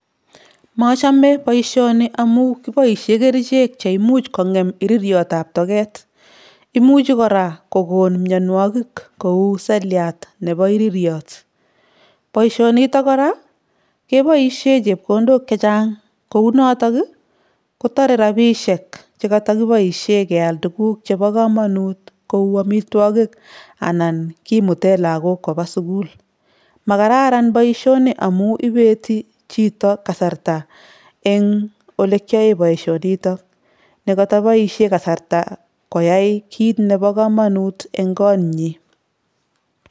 Machame boisioni amu kiboisie kerichek cheimuch kong'em iririotab togeet. Imuchi kora kogoon mionwogik kou seliat nebo iririot. Boisionitok kora, keboisie chepkondok chechang, kou notok, kotore rabisiek che katakiboisie keal tuguk chebo komonut kou amitwogik anan kimutee lagook koba sukul. Makararan boisioni amu ibetii chito kasarta eng olekiyae boisionitok ne kotoboisie kasarta koyai kiit nebo komonut eng kootnyi